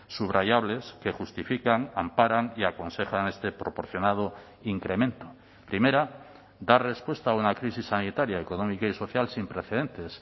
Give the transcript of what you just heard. subrayables que justifican amparan y aconsejan este proporcionado incremento primera dar respuesta a una crisis sanitaria económica y social sin precedentes